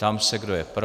Ptám se, kdo je pro.